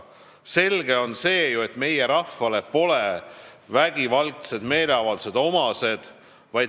Selge on see, et meie rahvale pole vägivaldsed meeleavaldused omased.